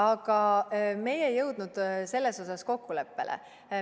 Aga meie ei jõudnud selles osas kokkuleppele.